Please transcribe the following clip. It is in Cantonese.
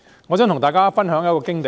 我想跟大家分享一則經驗。